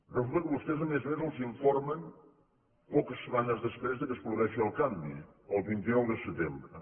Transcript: resulta que vostès a més a més els informen poques setmanes després que es produeixi el canvi el vint nou de setembre